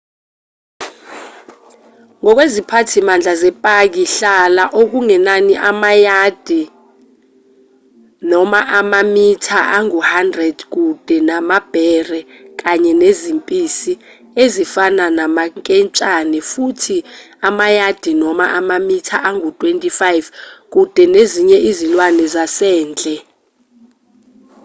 ngokweziphathimandla zepaki hlala okungenani amayadi/amamitha angu-100 kude namabhere kanye nezimpisi ezifana namanketshane futhi amayadi/amamitha angu-25 kude nezinye izilwane zasendle!